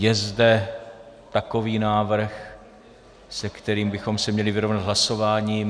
Je zde takový návrh, se kterým bychom se měli vyrovnat hlasováním?